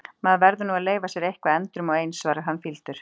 Maður verður nú að leyfa sér eitthvað endrum og eins, svarar hann fýldur.